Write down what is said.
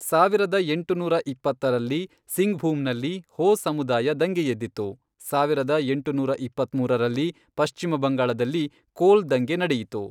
ಸಾವಿರದ ಎಂಟುನೂರ ಇಪ್ಪತ್ತರಲ್ಲಿ ಸಿಂಘ್ಭೂಮ್ನಲ್ಲಿ ಹೋ ಸಮುದಾಯ ದಂಗೆಯೆದ್ದಿತು, ಸಾವಿರದ ಎಂಟುನೂರ ಇಪ್ಪತ್ಮೂರರಲ್ಲಿ ಪಶ್ಚಿಮ ಬಂಗಾಳದಲ್ಲಿ ಕೋಲ್ ದಂಗೆ ನಡೆಯಿತು.